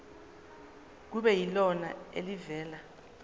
kube yilona elivela